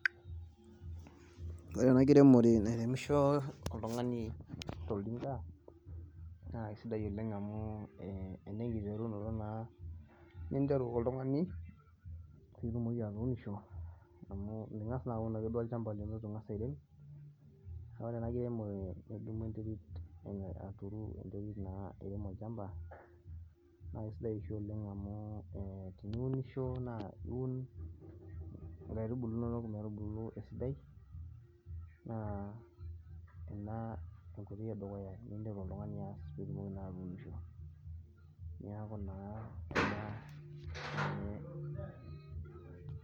Ore ena kiremore nairemisho oltungani toltinka naake kesidai oleng' amu ena enkiterunoto naa ninteru oltungani, pee itumoki atuunisho amu minkas naa duake aun alchambai lino eitu ingas airem, neeku ore ena kiremore naa idumu enterit ituru naa airem olchamba naa kesidai oshi oleng' amu ee iunisho naa iun inkaitubulu inono metubulu esidai, naa ena enkoitoi edukuya ninkas oltungani aas peeitumoki atuunisho. Neeku naa ena enkoitoi edukuya.